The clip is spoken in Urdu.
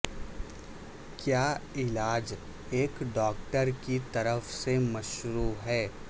کیا علاج ایک ڈاکٹر کی طرف سے مشروع ہے